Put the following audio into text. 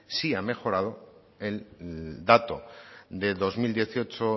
sí ha mejorado el dato de dos mil dieciocho